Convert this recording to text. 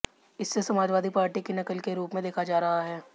इसे समाजवादी पार्टी की नकल के रूप में देखा जा रहा है